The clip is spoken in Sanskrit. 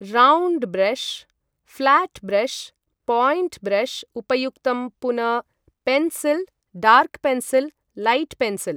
Round brush, flat brush, point brush उपयुक्तं पुन pencil, dark pencil light pencil.